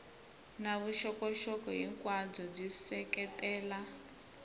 na vuxokoxoko hinkwabyo byi seketela